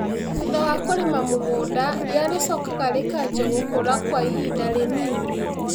Thutha wa kũrĩma mũgũnda, ria rĩcokaga rĩkanjia gũkũra kwa ihinda rĩnini